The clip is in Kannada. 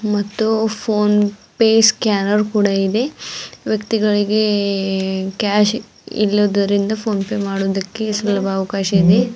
ಮತ್ತು ಫೋನ್ ಫೇ ಸ್ಕ್ಯಾನರ್ ಕೂಡ ಇದೆ ವ್ಯಕ್ತಿಗಳಿಗೆ ಕ್ಯಾಶ್ ಇಲ್ಲುದರಿಂದ ಫೋನ್ ಫೇ ಮಾಡುವುದಕ್ಕೆ ಸುಲಭಾವಕಾಶ ಇದೆ.